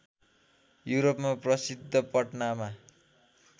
युरोपमा प्रसिद्ध पटनामा